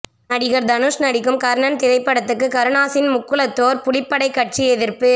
நடிகர் தனுஷ் நடிக்கும் கர்ணன் திரைப்படத்துக்கு கருணாஸின் முக்குலத்தோர் புலிப்படை கட்சி எதிர்ப்பு